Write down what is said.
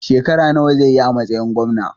Shekara nawa zai yi a matsayin Gwamna?